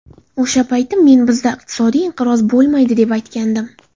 O‘sha payti men bizda iqtisodiy inqiroz bo‘lmaydi, deb aytgandim.